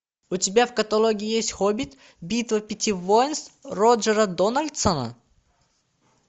у тебя в каталоге есть хоббит битва пяти воинств роджера дональдсона